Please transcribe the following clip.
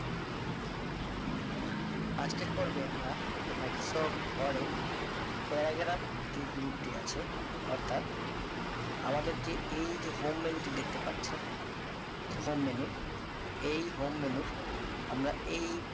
আজকের পর্বে আমরা microsoft word এর paragraph যে group টি আছে অর্থাৎ আমাদের যে এই যে home menu টি দেখতে পাচ্ছেন যে home menu এই home menu র আমরা এই